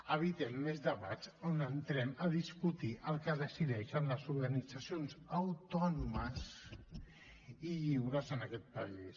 evitem més debats on entrem a discutir el que decideixen les organitzacions autònomes i lliures en aquest país